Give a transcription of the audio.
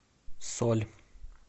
соль